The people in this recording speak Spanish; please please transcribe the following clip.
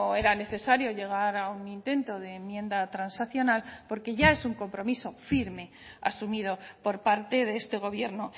era necesario llegar a un intento de enmienda transaccional porque ya es un compromiso firme asumido por parte de este gobierno